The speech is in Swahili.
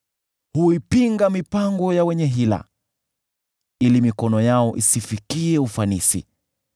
Huipinga mipango ya wenye hila, ili mikono yao isifikie ufanisi.